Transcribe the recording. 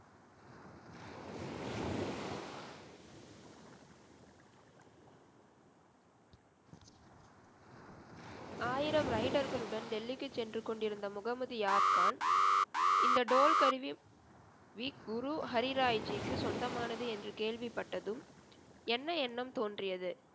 ஆயிரம் rider களுடன், delhi க்கு சென்று கொண்டிருந்த, முகமது யார் கான், இந்த toll கருவி, வி குரு ஹரிராய்ஜிக்கு சொந்தமானது என்று கேள்விப்பட்டதும் என்ன எண்ணம் தோன்றியது?